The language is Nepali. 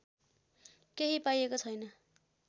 केही पाइएको छैन